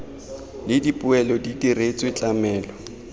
le dipoelo di diretswe tlamelo